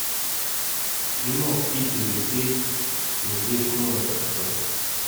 кино в питере петь сергей шнуров открой